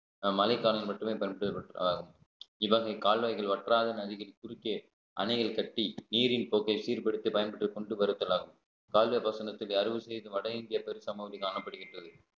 அஹ் மழைக்காலங்களில் மட்டுமே பயன்படுத்தப்பட்டதாகவும் இவ்வகை கால்வாய்கள் வற்றாத நதிகள் குறுக்கே அணையில் கட்டி நீரின் போக்கை சீர்படுத்தி பயன்படுத்திக் கொண்டு வருதல் ஆகும் கால்வாய் பாசனத்திலே அறுவது செய்து வட இந்திய பெருசமவதி காணப்படுகின்றது